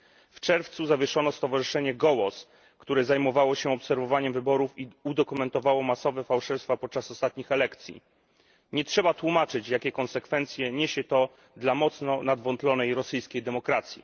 W czerwcu zawieszono stowarzyszenie Gołos, które zajmowało się obserwowaniem wyborów i udokumentowało masowe fałszerstwa podczas ostatnich elekcji. Nie trzeba tłumaczyć, jakie konsekwencje ma to dla mocno nadwątlonej rosyjskiej demokracji.